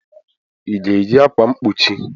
Ị ga-eyi akwa mkpuchi?